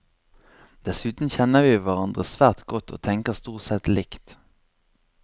Dessuten kjenner vi hverandre svært godt, og tenker stort sett likt.